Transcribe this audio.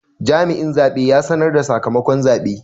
Jami'in zabe ya sanar da sakamakon zabe.